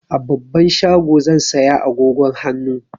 A babban shago zan saya agogon hannu.